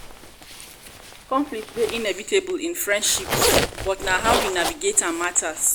conflict dey inevitable in friendships but how we navigate am matters.